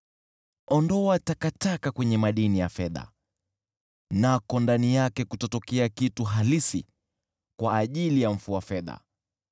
Ondoa takataka kwenye madini ya fedha, nako ndani yake kutatokea chombo cha mfua fedha.